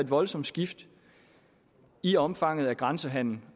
voldsomt skift i omfanget af grænsehandel